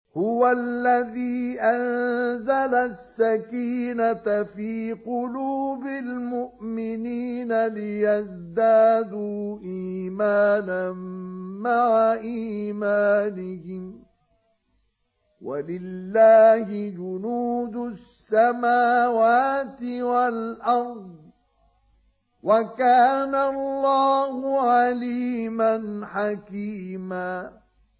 هُوَ الَّذِي أَنزَلَ السَّكِينَةَ فِي قُلُوبِ الْمُؤْمِنِينَ لِيَزْدَادُوا إِيمَانًا مَّعَ إِيمَانِهِمْ ۗ وَلِلَّهِ جُنُودُ السَّمَاوَاتِ وَالْأَرْضِ ۚ وَكَانَ اللَّهُ عَلِيمًا حَكِيمًا